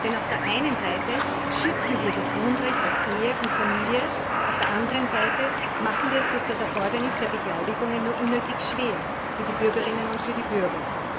Denn auf der einen Seite schützen wir das Grundrecht auf Ehe und Familie, auf der anderen Seite machen wir es durch das Erfordernis der Beglaubigung nur unnötig schwer für die Bürgerinnen und für die Bürger.